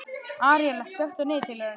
Aríela, slökktu á niðurteljaranum.